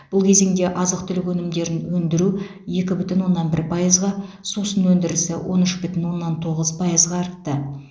бұл кезеңде азық түлік өнімдерін өндіру екі бүтін оннан бір пайызға сусын өндірісі он үш бүтін оннан тоғыз пайызға артты